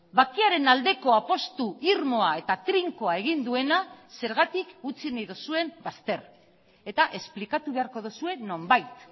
bakearen aldeko apustu irmoa eta trinkoa egin duena zergatik utzi nahi duzuen bazter eta esplikatu beharko duzue nonbait